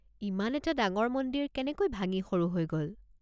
ইমান এটা ডাঙৰ মন্দিৰ কেনেকৈ ভাঙি সৰু হৈ গ'ল?